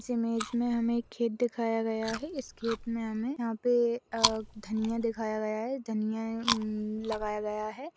इस इमेज में हमें एक खेत दिखाया गया है इस खेत में हमें यहां पर धनिया दिखाया गया है धनिया लगाया गया है।